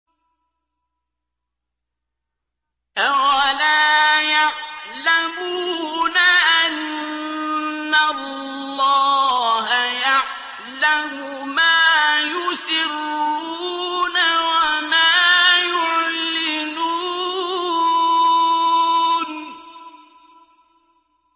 أَوَلَا يَعْلَمُونَ أَنَّ اللَّهَ يَعْلَمُ مَا يُسِرُّونَ وَمَا يُعْلِنُونَ